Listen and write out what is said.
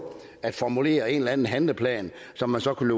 at formulere en eller anden handleplan som man så kunne